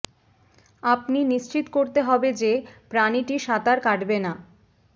আপনি নিশ্চিত করতে হবে যে প্রাণীটি সাঁতার কাটবে না